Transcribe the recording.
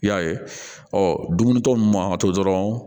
I y'a ye ɔ dumunitɔ ninnu man ka to dɔrɔn